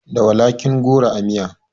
Da walakin goro a miya